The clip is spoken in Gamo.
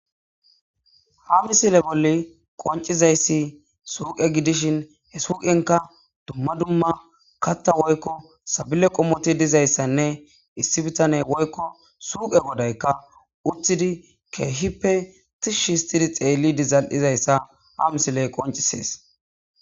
hamisile bolli qoncizayssi suuqe gidishin he suuqenka dumma dumma katta woykko sabile qomoti dizayssanne issi bitane woykko suuqe godayka uthidi keehippe tishshistidi xeellidi zal7izayssa hamsiley qoncisees